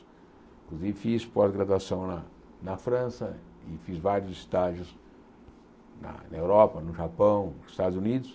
fiz pós-graduação na na França e fiz vários estágios na na Europa, no Japão, nos Estados Unidos.